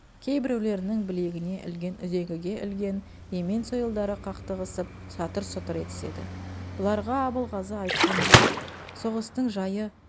кейбіреулерінің білегіне ілген үзеңгіге ілген емен сойылдары қақтығысып сатыр-сұтыр етіседі бұларға абылғазы айтқан бұйрық соғыстың жайы